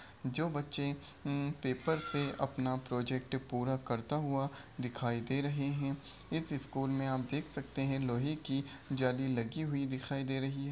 जो बच्चे हमम पेपर से अपना प्रोजेक्ट पूरा करता हुआ दिखाई दे रहे हैं इस स्कूल में आप देख सकते हैं लोहे की जाली दिखाई दे रही है।